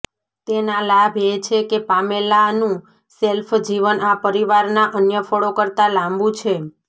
તેના લાભ એ છે કે પામેલાનું શેલ્ફ જીવન આ પરિવારના અન્ય ફળો કરતાં લાંબું છે